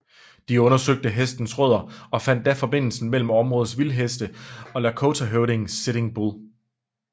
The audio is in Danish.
De undersøgte hestenes rødder og fandt da forbindelsen mellem områdets vildheste og lakotahøvdingen Sitting Bull